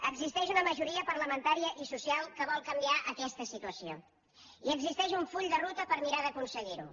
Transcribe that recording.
existeix una majoria parlamentària i social que vol canviar aquesta situació i existeix un full de ruta per mirar d’aconseguir ho